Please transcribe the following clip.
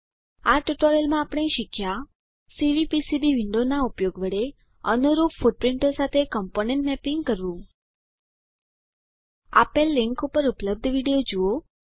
આ ટ્યુટોરીયલમાં આપણે શીખ્યા સીવીપીસીબી વિન્ડોનાં ઉપયોગ વડે અનુરૂપ ફૂટપ્રીંટો સાથે કમ્પોનન્ટ મેપિંગ કરવું આપેલ લીંક પર ઉપલબ્ધ વિડીઓ જુઓ